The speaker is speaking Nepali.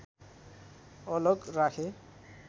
अलग राखे